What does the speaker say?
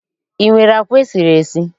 I nwere àkwá e siri esi?